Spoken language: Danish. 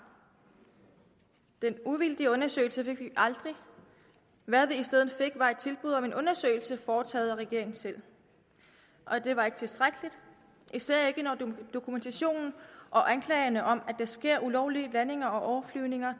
den uvildige undersøgelse fik vi aldrig hvad vi i stedet fik var et tilbud om en undersøgelse foretaget af regeringen selv det var ikke tilstrækkeligt især ikke når dokumentationen og anklagerne om at der sker ulovlige landinger og overflyvninger